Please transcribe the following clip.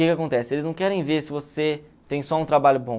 O que que acontece? Eles não querem ver se você tem só um trabalho bom.